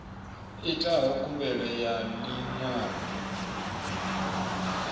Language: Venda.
itaho khumbelo ya ḽi ṅwalo